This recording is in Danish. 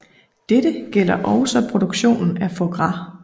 Dette gælder også produktionen af foie gras